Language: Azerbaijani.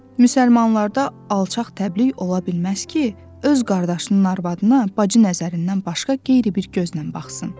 Müsəlmanlarda alçaq təbliğ ola bilməz ki, öz qardaşının arvadına bacı nəzərindən başqa qeyri bir gözlə baxsın.